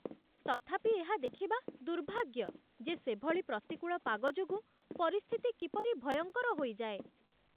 ତଥାପି ଏହା ଦେଖିବା ଦୁର୍ଭାଗ୍ୟ ଯେ ସେଭଳି ପ୍ରତିକୂଳ ପାଗ ଯୋଗୁଁ ପରିସ୍ଥିତି କିପରି ଭୟଙ୍କର ହୋଇଯାଏ